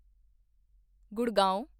Gurgaon